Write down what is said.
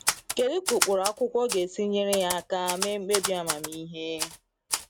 Kedu ka ụkpụrụ akwụkwọ ga-esi nyere ya aka mee mkpebi amamihe?